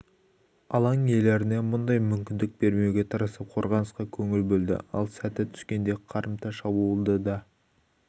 алаң иелеріне мұндай мүмкіндік бермеуге тырысып қорғанысқа көңіл бөлді ал сәті түскенде қарымта шабуылды да